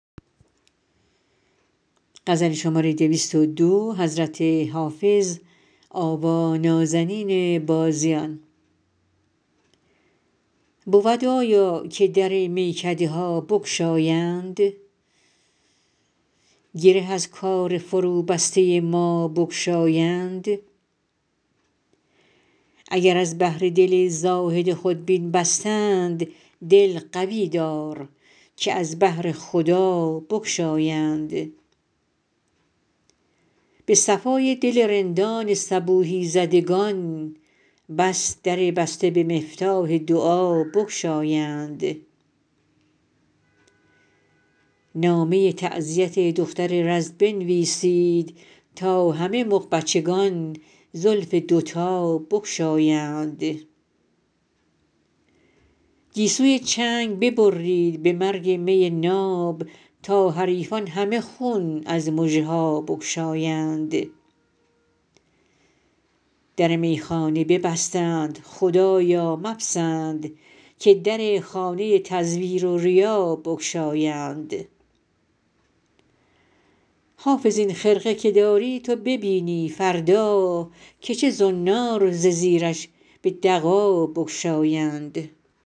بود آیا که در میکده ها بگشایند گره از کار فروبسته ما بگشایند اگر از بهر دل زاهد خودبین بستند دل قوی دار که از بهر خدا بگشایند به صفای دل رندان صبوحی زدگان بس در بسته به مفتاح دعا بگشایند نامه تعزیت دختر رز بنویسید تا همه مغبچگان زلف دوتا بگشایند گیسوی چنگ ببرید به مرگ می ناب تا حریفان همه خون از مژه ها بگشایند در میخانه ببستند خدایا مپسند که در خانه تزویر و ریا بگشایند حافظ این خرقه که داری تو ببینی فردا که چه زنار ز زیرش به دغا بگشایند